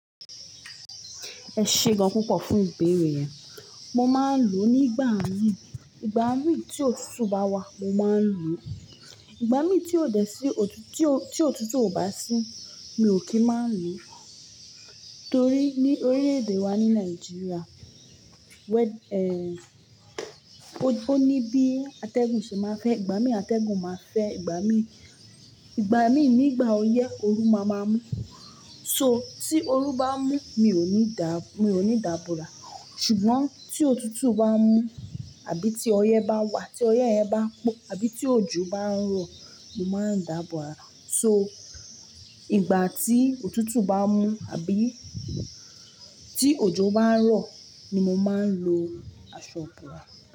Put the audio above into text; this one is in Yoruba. Ẹ ṣe gan púpọ̀ fún ìbéèrè yen. Mo máa ń lò ó nígbà mií, ìgbà mií tí òtútù bá wà mo máa ń lò ó. Ìgbà mí tí òdẹ sí-- tí òtútù ò bá sí mi ò kí ń má lò ó. Torí ní orílẹ̀-èdè wa ní Nàìjíríà wẹ-- ẹ, ó ní bí atẹ́gùn ṣe máa ń fẹ́ ìgbà mí atẹ́gùn máa fẹ́ ìgbà mí, ìgbà mí nígbà ọyẹ́, ooru máa ń mú. So tí ooru bá mú mi ò ní dà, mi ò ní dààbò ra ṣùgbọ́n tí òtútù bá mú àbí tí ọyẹ́ bá wà tí ọyẹ́ ẹ bá po àbí tí òjò bá ń rọ̀ mo máa ń dààbò ra. So ìgbà tí òtútù bá mú àbí tí òjò bá ń rọ̀ ni mo máa ń lo aṣọ ibòra.